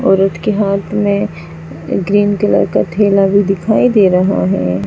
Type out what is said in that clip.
औरत के हाथ में ग्रीन कलर का थैला भी दिखाई दे रहा है।